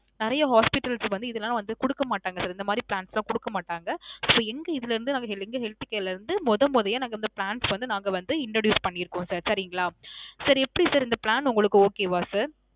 நிறைய hospitals வந்து இதுலாம் வந்து குடுக்கமாட்டாங்க sir. இந்த மாதிரி plans லாம் குடுக்க மாட்டாங்க. எங்க இதுல இருந்து நாங்க எங்க health care ல இருந்து மொதோ மொதோயே நாங்க இந்த plans வந்து நாங்க வந்து introduce பண்ணீருக்கோம் sir. சரிங்களா. sir எப்பிடி sir இந்த plan உங்களுக்கு okay வா sir?